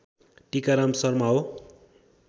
टिकाराम शर्मा हो